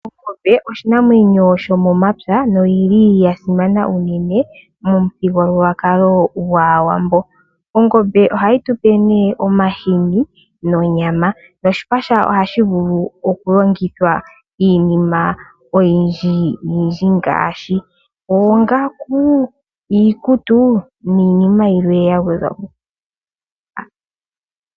Ongombe oshinamwenyo shomomapya noyili yasimana unene momuthigululwakali gwaawambo. Ongombe ohayi tupe nee omahini nonyama. Noshipa shawo ohashi vulu oku longithwa iinima oyindji ngaashi oongaku, iikutu niinima yilwe yagwedhwapo.